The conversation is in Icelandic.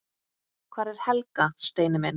Hvar er Helga, Steini minn?